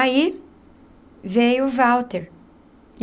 Aí... veio Walter.